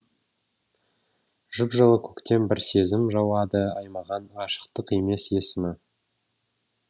жып жылы көктен бір сезім жауады аймаған ғашықтық емес есімі